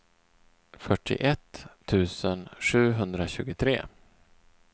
fyrtioett tusen sjuhundratjugotre